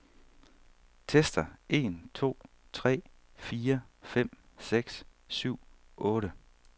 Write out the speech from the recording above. Tester en to tre fire fem seks syv otte.